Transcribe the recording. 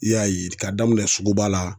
I y'a ye d k'a daminɛ suguba la